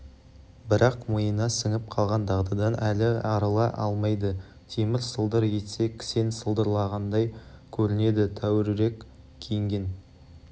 бірақ миына сіңіп қалған дағдыдан әлі арыла алмайды темір сылдыр етсе кісен сылдырлағандай көрінеді тәуірірек киінген